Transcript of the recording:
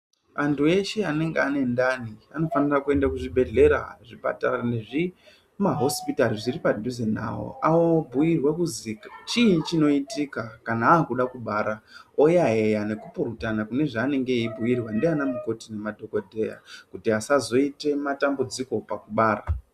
Antu eshe anenge aine ndani anofanirwe kuende kuzvibhedhlera, zvipatara nezvimahosipitari zviri padhuze nawo awobhuyirwe kuzi chiini chinoitika kana wakude kubara woyayeya nekupurutana kune zvaanenge eyibhuyurwa ndianamukoti nemadhokoteya kuti asazoite dambudziko pakubara.